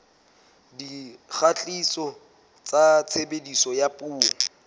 dikgatiso tsa tshebediso ya dipuo